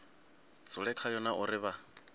dzule khayo na uri vha